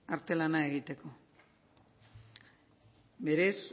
artelana egiteko berez